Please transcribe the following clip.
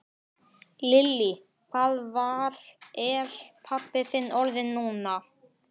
Lillý: Hvað var, er pabbi þinn orðinn núna?